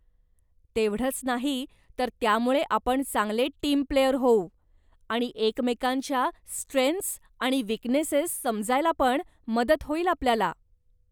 तेवढंच नाही, तर त्यामुळे आपण चांगले टीम प्लेयर होऊ, आणि एकमेकांच्या स्ट्रेन्थस् आणि विकनेसेस समजायलापण मदत होईल आपल्याला.